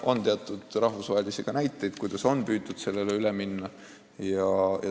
On teada ka rahvusvahelisi näiteid, kuidas on püütud säärasele süsteemile üle minna.